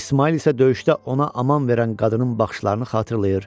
İsmail isə döyüşdə ona aman verən qadının baxışlarını xatırlayır.